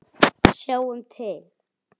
Sjáum til!